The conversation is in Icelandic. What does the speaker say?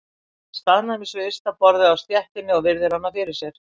Hann staðnæmist við ysta borðið á stéttinni og virðir hana fyrir sér.